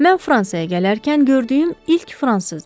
Mən Fransaya gələrkən gördüyüm ilk fransızdır.